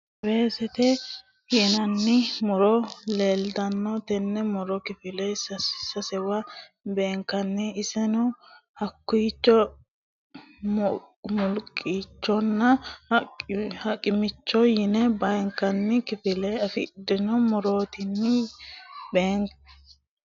weesete yinanni muro leeltanno tenne muro kifile sasewa beenkanni iseno: hokkicho, muqullichonna, ha'michoho yine beenkanni kifilla afidhino murooti tini yaate.